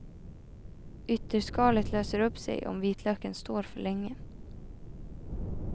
Ytterskalet löser upp sig om vitlöken står för länge.